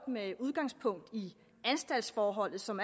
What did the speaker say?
med udgangspunkt i anstaltsforholdet som